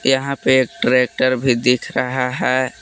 यहां पे ट्रैक्टर भी दिख रहा है।